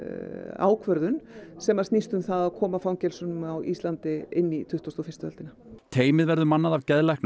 ákvörðun sem snýst um það að koma fangelsum á Íslandi inn í tuttugustu og fyrstu öldina teymið verður mannað af geðlæknum